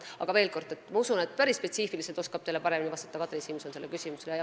Aga veel kord: ma usun, et päris spetsiifiliselt oskab teile vastata Kadri Simson.